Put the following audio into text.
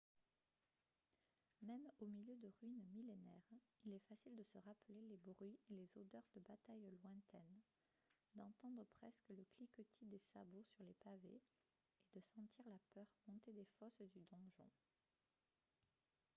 même au milieu de ruines millénaires il est facile de se rappeler les bruits et les odeurs de batailles lointaines d'entendre presque le cliquetis des sabots sur les pavés et de sentir la peur monter des fosses du donjon